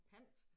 Pant